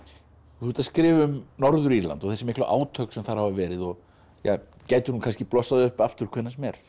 þú ert að skrifa um Norður Írland og þessi miklu átök sem þar hafa verið og ja gætu nú kannski blossað upp aftur hvenær sem er